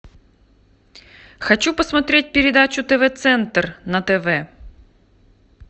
хочу посмотреть передачу тв центр на тв